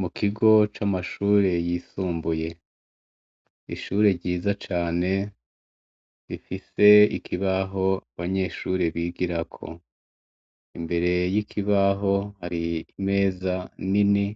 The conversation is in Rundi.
Mu kigo c'amashure yisumbuye, ishure ryiza cane rifise ikibaho abanyeshure bigirako. Imbere y'ikibaho hari imeza nini